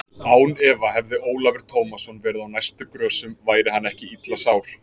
Án efa hefði Ólafur Tómasson verið á næstu grösum væri hann ekki illa sár.